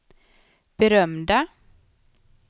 berömda